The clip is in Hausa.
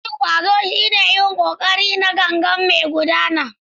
Yin ƙwazo shine yin ƙoƙari na gangan kuma mai gudana.